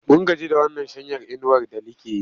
Mun gaji da wannan shanyar inuwar da like yi.